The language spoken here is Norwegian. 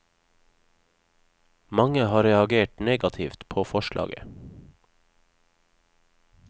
Mange har reagert negativt på forslaget.